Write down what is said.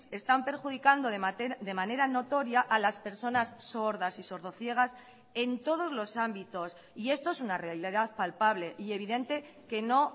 están perjudicando de manera notoria a las personas sordas y sordo ciegas en todos los ámbitos y esto es una realidad palpable y evidente que no